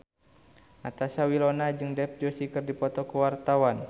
Natasha Wilona jeung Dev Joshi keur dipoto ku wartawan